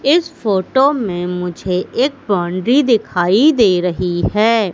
इस फोटो में मुझे एक बाउंड्री दिखाई दे रही है।